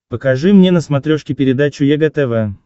покажи мне на смотрешке передачу егэ тв